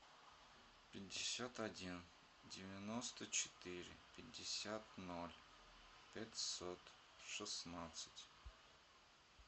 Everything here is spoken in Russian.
пятьдесят один девяносто четыре пятьдесят ноль пятьсот шестнадцать